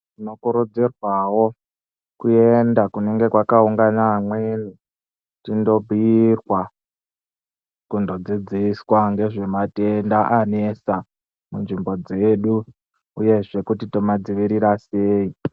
Tinokurudzirwawo kuenda kunenge kwakaungana amweni tindobhiirwa kundodzidziswa ngezve matenda anesa munzvimbo dzedu uyezve kuti tomadzivirira sei.